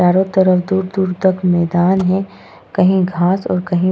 चारों तरफ दूर-दूर तक मैदान है कहीं घास और कहीं --